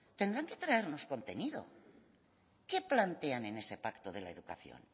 tendrán que traernos contenido qué plantean en ese pacto de la educación